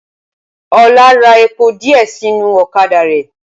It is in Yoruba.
Ọlá ra epo díẹ̀ sínú ọ̀kadà rẹ̀